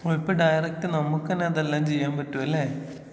ആയിപ്പോ ഡയറക്റ്റ് നമുക്കന്നെ അതെല്ലാം ചെയ്യാൻ പറ്റും ലെ.